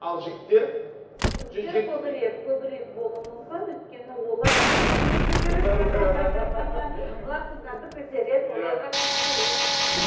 ал жігіттер жігіттер көбірек көбірек болуы мүмкін өйткені олар қыздарды көтеру керек олар қыздарды көтереді оларға күш керек